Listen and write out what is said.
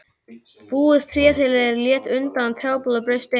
Fúið tréþilið lét undan og trjábolur braust inn.